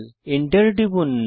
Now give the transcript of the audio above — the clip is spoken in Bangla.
এন্টার টিপুন